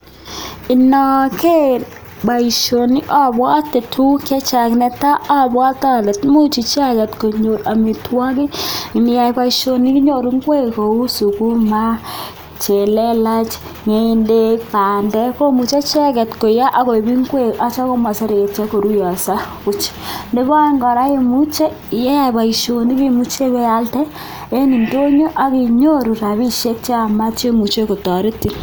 Inageer boisioni abwate tuguk chechang, ne tai, abwate ale tuguchu icheket konyor boisionik, ngiyai boisioni inyoru ingwek kou sukuma chelelach, ngendek, bandek komuchei icheket koiyo akoip ingwek asimaseretyo koruyoiso buuch. Nebo aeng kora, imuche kokeyai boisioni imuche ipealde eng indonyo ak kinyoru rapishiek cheyamat che imuche kotoretin.